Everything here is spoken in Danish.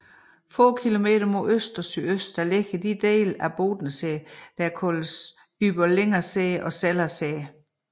Få kilometer mod øst og sydøst ligger de dele af Bodensee der kaldes Überlinger See og Zeller See